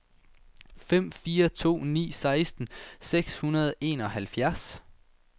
fem fire to ni seksten seks hundrede og enoghalvfjerds